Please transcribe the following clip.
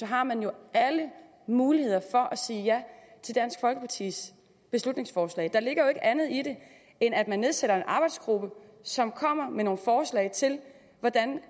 har man jo alle muligheder for at sige ja til dansk folkepartis beslutningsforslag der ligger jo ikke andet i det end at man nedsætter en arbejdsgruppe som kommer med nogle forslag til hvordan